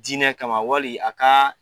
Diinɛ kama wali a ka